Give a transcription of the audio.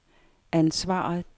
ansvaret